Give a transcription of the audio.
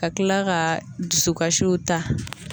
Ka kila ka dusukasiw ta.